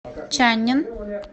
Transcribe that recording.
чаннин